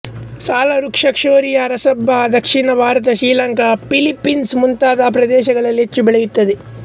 ಸಾಲವೃಕ್ಷ ಶೋರಿಯ ರೊಬಸ್ಟ ದಕ್ಷಿಣ ಭಾರತ ಶ್ರೀಲಂಕಾ ಫಿಲಿಪೀನ್ಸ್ ಮುಂತಾದ ಪ್ರದೇಶಗಳಲ್ಲಿ ಹೆಚ್ಚು ಬೆಳೆಯುತ್ತದೆ